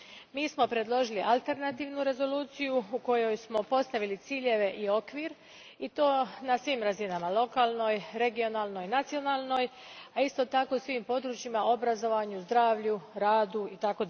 Mi smo predložili alternativnu rezoluciju u kojoj smo postavili ciljeve i okvir, i to na svim razinama, lokalnoj, regionalnoj, nacionalnoj, a isto tako i u svim područjima, obrazovanju, zdravlju, radu itd.